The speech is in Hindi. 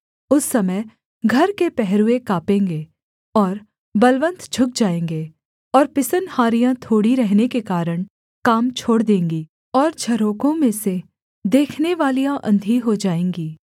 उस समय घर के पहरुए काँपेंगे और बलवन्त झुक जाएँगे और पिसनहारियाँ थोड़ी रहने के कारण काम छोड़ देंगी और झरोखों में से देखनेवालियाँ अंधी हो जाएँगी